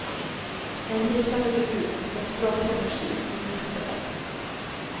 En lysande debut, med språklig energi som gnistrar.